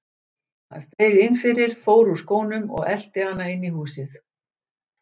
Hann steig inn fyrir, fór úr skónum og elti hana inn í húsið.